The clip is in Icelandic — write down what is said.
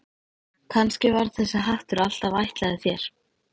Kannski var þessi hattur alltaf ætlaður þér.